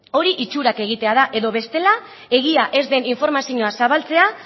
hori itxurak egitea da edo bestela egia ez den informazio zabaltzea